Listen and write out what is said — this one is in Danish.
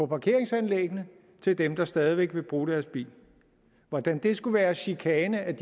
parkeringsanlæggene til dem der stadig væk vil bruge deres bil hvordan det skulle være chikane af